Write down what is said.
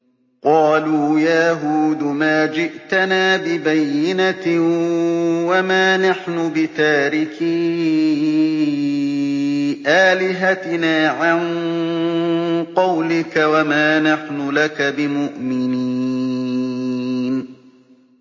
قَالُوا يَا هُودُ مَا جِئْتَنَا بِبَيِّنَةٍ وَمَا نَحْنُ بِتَارِكِي آلِهَتِنَا عَن قَوْلِكَ وَمَا نَحْنُ لَكَ بِمُؤْمِنِينَ